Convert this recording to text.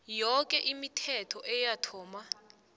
yoke imithetho eyathoma